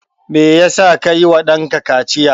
Me ya sa ka yi wa ɗanka kaciya?